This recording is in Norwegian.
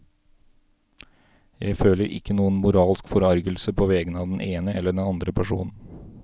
Jeg føler ikke noen moralsk forargelse på vegne av den ene eller den andre personen.